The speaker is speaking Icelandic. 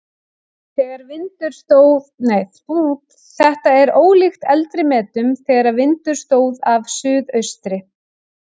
Þetta er ólíkt eldri metum þegar vindur stóð af suðaustri.